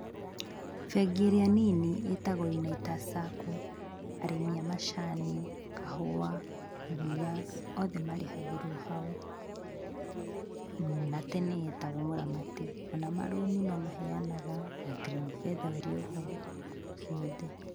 Bengi ĩrĩa nini ĩtagwo Unitas Sacco, arĩmi a macani, kahũa, iria othe marĩhagĩrwo hau, na tene yetagwo mũramati, ona marũni no maheyanaga na Greenfeather ĩrĩ oho, ciothe.